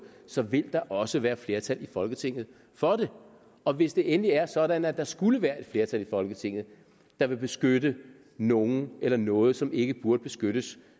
så vil der også være et flertal i folketinget for det og hvis det endelig er sådan at der skulle være et flertal i folketinget der vil beskytte nogen eller noget som ikke burde beskyttes